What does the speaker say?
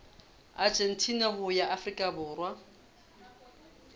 argentina ho ya afrika borwa